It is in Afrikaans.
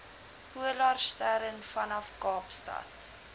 polarstern vanaf kaapstad